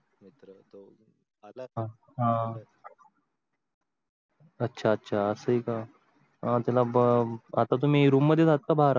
अं अच्छा अच्छा अस आहे. तुला आता तुम्ही room मध्ये आहेत का बहार आहत